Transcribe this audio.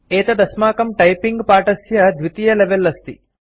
एतत् अस्माकं टाइपिंग पाठस्य द्वितीयं लेवल अस्ति